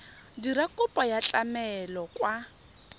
dira kopo ya tlamelo kwa